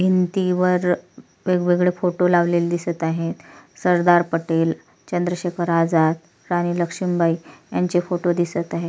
भिंतीवर वेगवेगळे फोटो लावलेले दिसत आहेत सरदार पटेल चंद्रशेखर आझाद राणी लक्षुमबाई यांचे फोटो दिसत आहे.